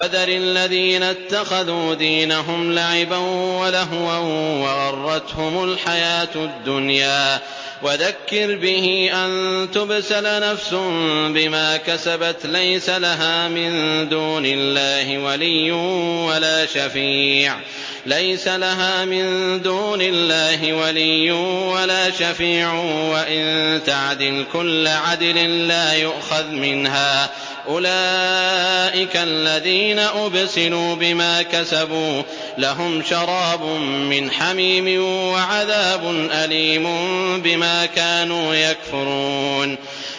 وَذَرِ الَّذِينَ اتَّخَذُوا دِينَهُمْ لَعِبًا وَلَهْوًا وَغَرَّتْهُمُ الْحَيَاةُ الدُّنْيَا ۚ وَذَكِّرْ بِهِ أَن تُبْسَلَ نَفْسٌ بِمَا كَسَبَتْ لَيْسَ لَهَا مِن دُونِ اللَّهِ وَلِيٌّ وَلَا شَفِيعٌ وَإِن تَعْدِلْ كُلَّ عَدْلٍ لَّا يُؤْخَذْ مِنْهَا ۗ أُولَٰئِكَ الَّذِينَ أُبْسِلُوا بِمَا كَسَبُوا ۖ لَهُمْ شَرَابٌ مِّنْ حَمِيمٍ وَعَذَابٌ أَلِيمٌ بِمَا كَانُوا يَكْفُرُونَ